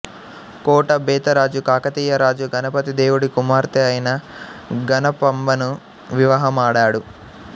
కోట బెతరాజు కాకతీయ రాజు గణపతి దేవుడి కుమార్తె అయిన గణపాంబను వివాహమాడాడు